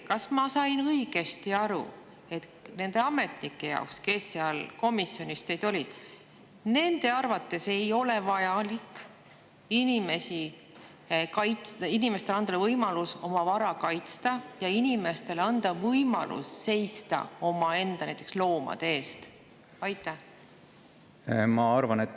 Kas ma sain õigesti aru, et nende ametnike arvates, kes seal komisjonis olid, ei ole vaja anda inimestele võimalust oma vara kaitsta ja näiteks võimalust seista omaenda loomade eest?